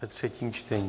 Ve třetí čtení.